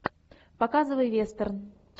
показывай вестерн